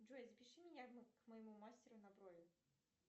джой запиши меня к моему мастеру на брови